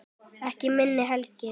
Ekki minna hlegið.